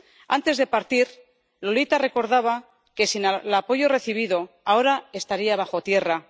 Antes de partir Lolita recordaba que, sin el apoyo recibido, ahora estaría bajo tierra.